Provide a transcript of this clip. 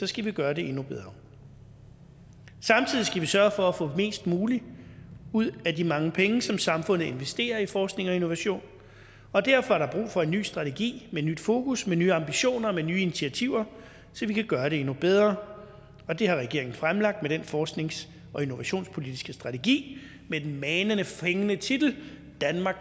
skal vi gøre det endnu bedre samtidig skal vi sørge for at få mest muligt ud af de mange penge som samfundet investerer i forskning og innovation og derfor er der brug for en ny strategi med nyt fokus med nye ambitioner med nye initiativer så vi kan gøre det endnu bedre og det har regeringen fremlagt med den forsknings og innovationspolitiske strategi med den manende fængende titel danmark